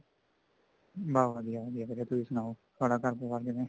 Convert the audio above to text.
ਬੱਸ ਵਧੀਆ ਵਧੀਆ ਵੀਰੇ ਤੁਸੀਂ ਸਨਾਓ ਤੁਹਾਡਾ ਘਰ ਪਰਿਵਾਰ ਕਿਵੇਂ